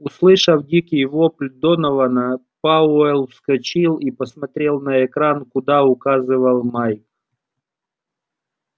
услышав дикий вопль донована пауэлл вскочил и посмотрел на экран куда указывал майк